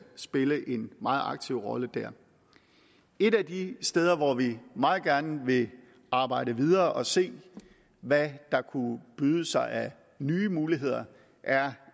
spille en meget aktiv rolle der et af de steder hvor vi meget gerne vil arbejde videre og se hvad der kunne byde sig af nye muligheder er